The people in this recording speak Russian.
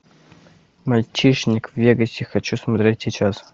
мальчишник в вегасе хочу смотреть сейчас